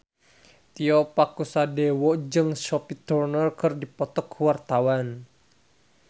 Tio Pakusadewo jeung Sophie Turner keur dipoto ku wartawan